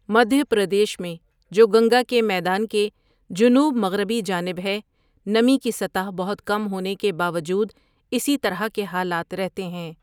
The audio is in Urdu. مدھیہ پردیش میں، جو گنگا کے میدان کے جنوب مغربی جانب ہے، نمی کی سطح بہت کم ہونے کے باوجود اسی طرح کے حالات رہتے ہیں۔